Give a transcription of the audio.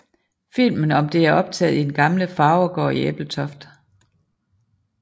Filmen om det er optaget i den gamle farvergård i Ebeltoft